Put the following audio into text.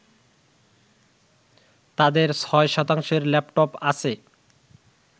তাদের ৬ শতাংশের ল্যাপটপ আছে